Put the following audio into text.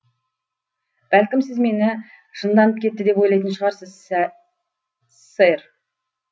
бәлкім сіз мені жынданып кетті деп ойлайтын шығарсыз сэр